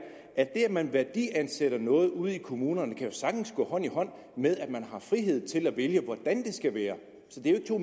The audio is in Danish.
at det at man værdiansætter noget ude i kommunerne jo sagtens kan gå hånd i hånd med at man har frihed til at vælge hvordan det skal være så det er jo